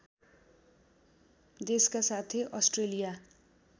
देशका साथै अस्ट्रेलिया